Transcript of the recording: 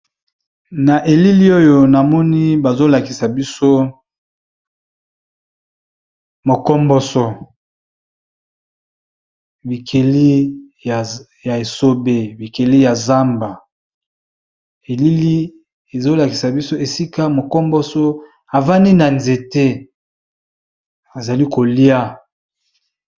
Na elili oyo namoni bazolakisa biso mokomboso. Bikeli ya esobe bikeli ya zamba elili ezolakisa biso esika mokomboso avandi na nzete azali kolia.